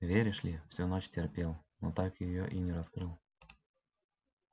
веришь ли всю ночь терпел но так её и не раскрыл